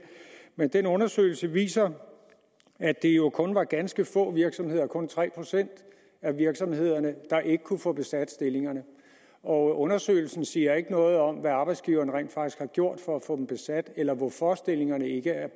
men den undersøgelse viser at det jo kun var ganske få virksomheder kun tre procent af virksomhederne der ikke kunne få besat stillingerne og undersøgelsen siger ikke noget om hvad arbejdsgiverne rent faktisk har gjort for at få dem besat eller hvorfor stillingerne ikke er